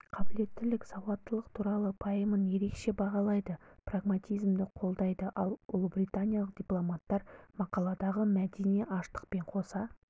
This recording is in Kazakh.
қабілеттілік сауаттылық туралы пайымын ерекше бағалайды прагматизмді қолдайды ал ұлыбританиялық дипломаттар мақаладағы мәдени ашықтықпен қоса